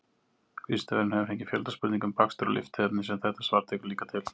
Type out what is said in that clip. Vísindavefurinn hefur fengið fjölda spurninga um bakstur og lyftiefni sem þetta svar tekur líka til.